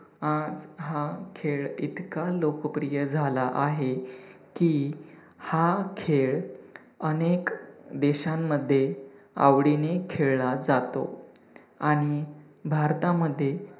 हा, हा खेळ इतका लोकप्रिय झाला आहे की, हा खेळ अनेक देशांमध्ये आवडीने खेळला जातो आणि भारतामध्ये